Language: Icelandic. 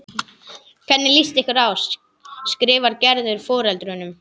Hvernig líst ykkur á? skrifar Gerður foreldrunum.